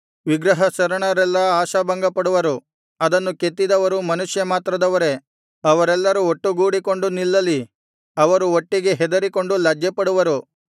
ವಿಗ್ರಹ ಶರಣರೆಲ್ಲಾ ಆಶಾಭಂಗಪಡುವರು ಅದನ್ನು ಕೆತ್ತಿದವರು ಮನುಷ್ಯಮಾತ್ರದವರೇ ಅವರೆಲ್ಲರು ಒಟ್ಟುಗೂಡಿಕೊಂಡು ನಿಲ್ಲಲಿ ಅವರು ಒಟ್ಟಿಗೆ ಹೆದರಿಕೊಂಡು ಲಜ್ಜೆಪಡುವರು